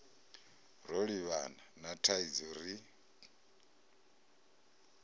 ro livhana na thaidzo ri